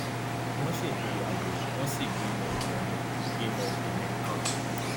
wọn ṣègbéyàwó wọn sì bímọ obìnrin bímọ obìnrin kan